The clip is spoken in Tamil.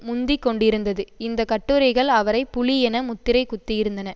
முந்திக்கொண்டிருந்தது இந்த கட்டுரைகள் அவரை புலி என முத்திரை குத்தியிருந்தன